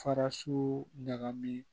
Faraso ɲagami